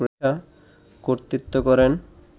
কর্তৃত্ব করেন